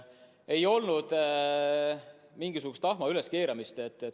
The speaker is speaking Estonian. Ei olnud mingisugust tahma üleskeerutamist.